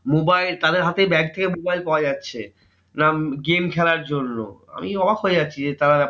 mobile তাদের হাতে bag থেকে mobile পাওয়া যাচ্ছে, না game খেলার জন্য। আমি অবাক হয়ে যাচ্ছি যে, তারা